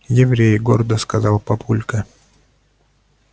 еврей гордо сказал папулька